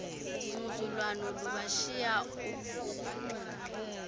ngquzulwano lubashiya oophumi